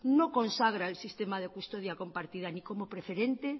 no consagra el sistema de custodia compartida ni como preferente